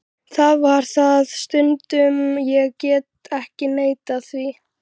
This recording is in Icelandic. Það var það stundum, ég get ekki neitað því.